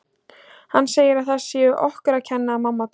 Hann segir að það sé okkur að kenna að mamma dó